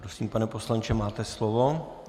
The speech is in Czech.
Prosím, pane poslanče, máte slovo.